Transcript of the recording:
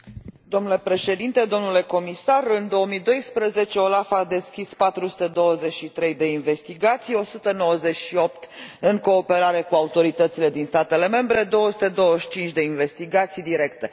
Domnule președinte, în 2012 OLAF a deschis 423 de investigații, 198 în cooperare cu autoritățile din statele membre, 225 de investigații directe.